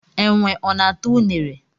Enwe ọ na-ata ụnere?